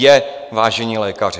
Je, vážení lékaři.